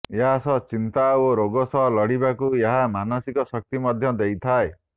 ଏହାସହ ଚିନ୍ତା ଓ ରୋଗ ସହ ଲଢ଼ିବାକୁ ଏହା ମାନସିକ ଶକ୍ତି ମଧ୍ୟ ଦେଇଥାଏ